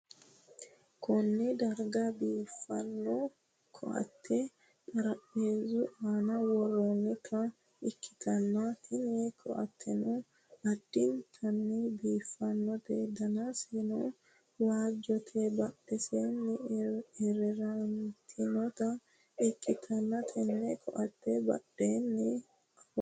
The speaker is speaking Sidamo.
Konne darga biiffanno ko'atte xarapheezzu aana worroonnita ikkitanna, tini ko'atteno addintanni biiffannote danseno waajjote, badhidose ereerantinota ikkitanna, tenne ko'atee badheennino awawu gedeeri no.